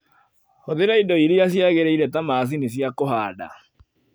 Hũthĩra indo iria ciagĩrĩire ta macini cia kũhanda.